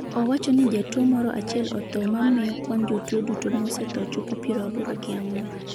owacho ni jatuo moro achiel otho mamiyo kwan jotuo duto mosetho chopo piero aboro gi ang'wen